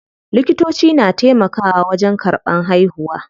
Likitoci na taimakawa wajen karɓan haihuwa.